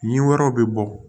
Ɲin wɛrɛw bɛ bɔ